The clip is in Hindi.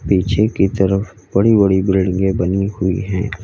पीछे की तरफ बड़ी बड़ी बिल्डिंगे बनी हुई है।